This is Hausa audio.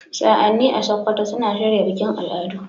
Sa'anni a Sokoto suna shirya bikin al'adu.